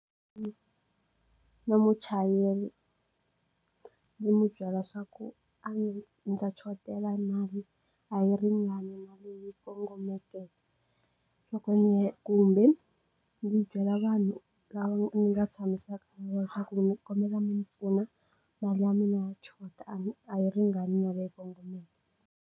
Na muchayeri ndzi n'wi byela swa ku ndzi ta chotela hi mali a yi ringani na leyi kongomeke loko kumbe ndzi byela vanhu lava nga tshamisaka ku ndzi kombela mi ndzi pfuna mali ya mina ya chota a a yi ringanele kongomeke.